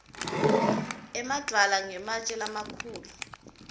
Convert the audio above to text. emadvwala ngematje lamakhulu